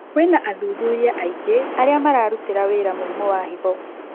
Kwĩna athuthuria aingĩ arĩa mararutĩra wĩra mũrimũ wa higo